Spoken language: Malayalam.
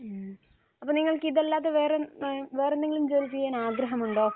മ്മ്. അപ്പോൾ നിങ്ങൾക്ക് ഇതല്ലാതെ വേറെ ഏഹ് വേറെയെന്തെങ്കിലും ജോലി ചെയ്യാൻ ആഗ്രഹം ഉണ്ടോ?